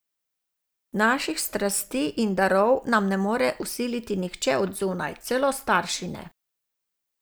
Naših strasti in darov nam ne more vsiliti nihče od zunaj, celo starši ne.